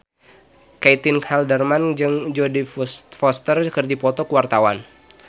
Caitlin Halderman jeung Jodie Foster keur dipoto ku wartawan